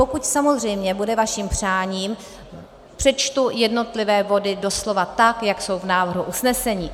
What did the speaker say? Pokud samozřejmě bude vaším přáním, přečtu jednotlivé body doslova tak, jak jsou v návrhu usnesení.